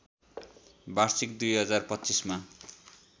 वार्षिक २०२५ मा